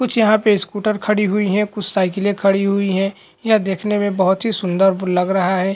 कुछ यहाँ पे स्कूटर खड़ी हुई हैं कुछ साईकले खड़ी हुई है यह देखने बहोत ही सुन्दर लग रहा है।